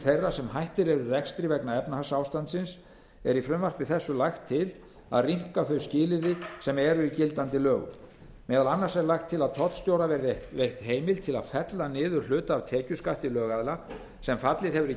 þeirra sem hættir eru rekstri vegna efnahagsástandsins er í frumvarpi þessu lagt til að rýmka þau skilyrði sem eru í gildandi lögum meðal annars er lagt til að tollstjóra verði veitt heimild til að fella niður hluta af tekjuskatti lögaðila sem fallið hefur í